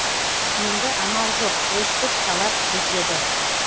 енді амал жоқ өстіп талап етеді